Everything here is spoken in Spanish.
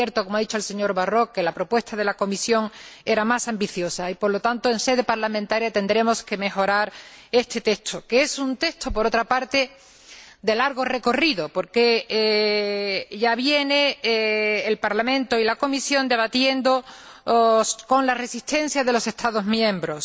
Es cierto, como ha dicho el señor Barrot, que la propuesta de la Comisión era más ambiciosa y, por lo tanto, en sede parlamentaria tendremos que mejorar este texto, que es un texto, por otra parte, de largo recorrido, porque el Parlamento y la Comisión ya vienen debatiendo, con la resistencia de los Estados miembros.